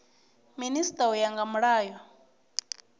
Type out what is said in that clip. minisita u ya nga mulayo